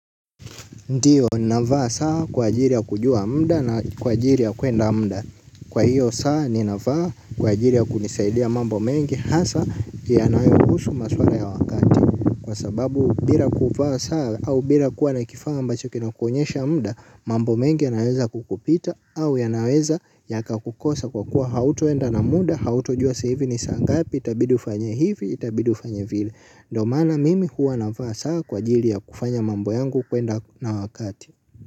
Ndiyo navaa saa kwa ajili ya kujua muda na kwa ajili ya kwenda muda kwa hiyo saa ninavaa kwa ajili ya kunisaidia mambo mengi hasa yanayohusu maswala ya wakati kwa sababu bila kuvaa saa au bila kuwa na kifaa ambacho kinakuonyesha muda. Mambo mengi yanaweza kukupita au yanaweza yakakukosa kwa kuwa hautoenda na muda hautojua saa hivi ni saa ngapi itabidi ufanye hivi itabidi ufanye vile ndiyo maana mimi huwa navaa saa kwa ajili ya kufanya mambo yangu kwenda na wakati.